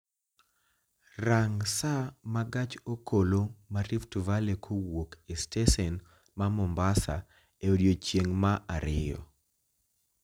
Rang' saa ma gach okoloma rift valley kowuok e stesen ma mombasa e odiechieng' ma ariyo